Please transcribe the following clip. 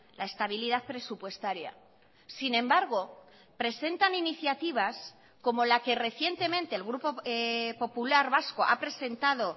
la estabilidad presupuestaria sin embargo presentan iniciativas como la que recientemente el grupo popular vasco ha presentado